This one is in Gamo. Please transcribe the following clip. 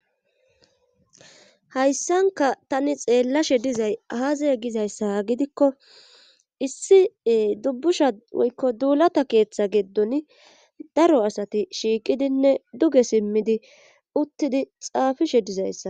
Hayssanka tani xeellashe dizay aazaye gizayssa gidikko issie dubbusha woykko duulata keeththa geeddon daro asati shiiqidinne duge simmidi uttidi xaafishe dizayssa.